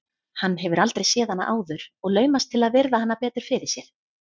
Hann hefur aldrei séð hana áður og laumast til að virða hana betur fyrir sér.